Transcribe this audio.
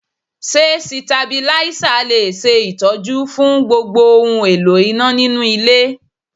Ṣé Sitabílísà le ṣe Ìtọ́jú fún gbogbo ohun èlò iná nínú ilé náà?